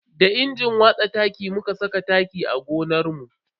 Da injin watsa taki muka saka taki a gonarmu.